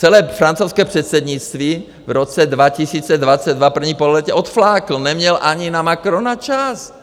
Celé francouzské předsednictví v roce 2022, první pololetí, odflákl, neměl ani na Macrona čas.